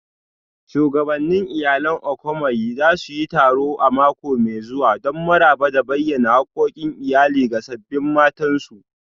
Shugabannin Iyalan Okomanyi za su yi taro a mako mai zuwa don maraba da bayyana hakkokin iyali ga sabbin matansu